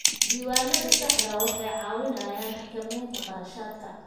Diiwaanada saxda ah waxay caawiyaan xakamaynta kharashaadka.